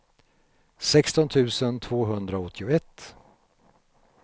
sexton tusen tvåhundraåttioett